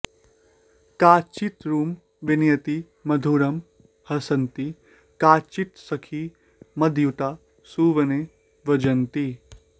काचित्तरुं विनयती मधुरं हसन्ती काचित्सखी मदयुता सुवने व्रजन्ती